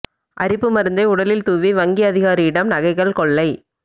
அரிப்பு மருந்தை உடலில் தூவி வங்கி அதிகாரியிடம் நகைகள் கொள்ளை